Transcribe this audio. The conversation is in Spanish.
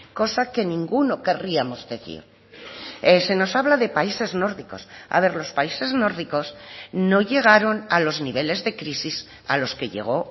cosa que ninguno querríamos decir se nos habla de países nórdicos a ver los países nórdicos no llegaron a los niveles de crisis a los que llegó